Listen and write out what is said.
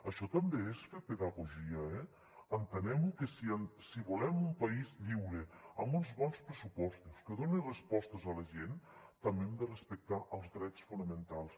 això també és fer pedagogia eh entenguem ho que si volem un país lliure amb uns bons pressupostos que doni respostes a la gent també hem de respectar els drets fonamentals